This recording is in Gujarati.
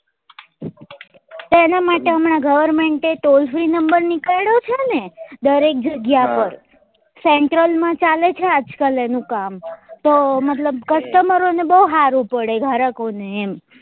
એના માટે હમણાં government એ toll free number નીકાલ્યો છે ને દરેક જગ્યા પર central માં ચાલે છે આજ કાલ એનું કામ તો મતલબ customer બઉ હારું પડે ગરકો ને એમ